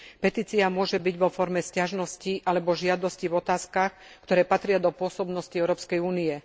Petícia môže byť vo forme sťažnosti alebo žiadosti v otázkach, ktoré patria do pôsobnosti Európskej únie.